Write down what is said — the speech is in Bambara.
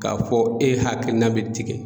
K'a fɔ e hakilina be tigɛ